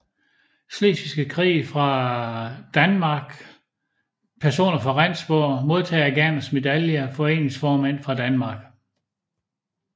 Slesvigske Krig fra Danmark Personer fra Rendsborg Modtagere af Gerners Medalje Foreningsformænd fra Danmark